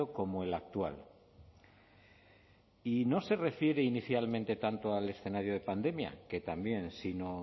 como el actual y no se refiere inicialmente tanto al escenario de pandemia que también sino